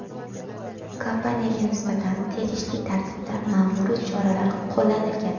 Kompaniyaga nisbatan tegishli tartibda ma’muriy choralar qo‘llanilgan.